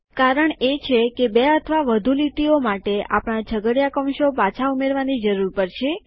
કારણ એ છે કે બે અથવા વધુ લીટીઓ માટે આપણા છગડીયા કૌંસો પાછા ઉમેરવાની જરૂર પડશે